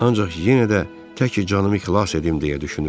ancaq yenə də təki canımı xilas edim deyə düşünürdü.